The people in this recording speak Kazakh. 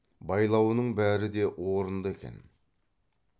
байлауының бәрі де орынды екен